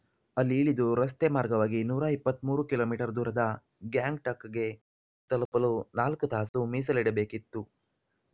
ಅಲ್ಲಿ ಇಳಿದು ರಸ್ತೆ ಮಾರ್ಗವಾಗಿ ನೂರ ಇಪ್ಪತ್ತ್ ಮೂರು ಕಿಲೋ ಮೀಟರ್ ದೂರದ ಗ್ಯಾಂಗ್ಟಕ್‌ಗೆ ತಲುಪಲು ನಾಲ್ಕು ತಾಸು ಮೀಸಲಿಡಬೇಕಿತ್ತು